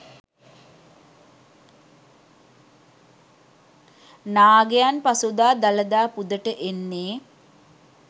නාගයන් පසුදා දළදා පුදට එන්නේ